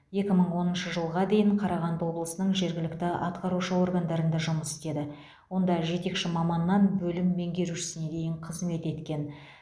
екі мың оныншы жылға дейін қарағанды облысының жергілікті атқарушы органдарында жұмыс істеді онда жетекші маманнан бөлім меңгерушісіне дейін қызмет еткен